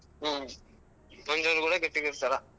ಹ್ಮ್ ಕೂಡಾ ಗಟ್ಟಿಗಿರ್ತರ.